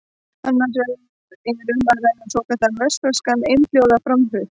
Annars vegar er um að ræða svokallaðan vestfirskan einhljóðaframburð.